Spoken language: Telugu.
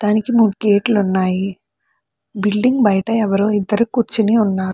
దానికి మూడు గేట్లు ఉన్నాయి. బిల్డింగ్ బయట ఎవరో ఇద్దరు కూర్చుని ఉన్నారు.